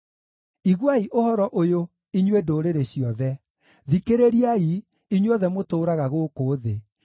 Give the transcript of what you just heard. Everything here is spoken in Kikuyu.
Iguai ũhoro ũyũ, inyuĩ ndũrĩrĩ ciothe; thikĩrĩriai, inyuothe mũtũũraga gũkũ thĩ,